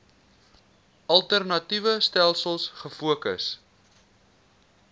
alternatiewe stelsels gefokus